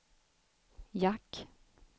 jack